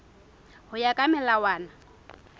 ka ho ya ka melawana